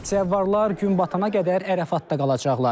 Zəvvarlar gün batana qədər Ərafatda qalacaqlar.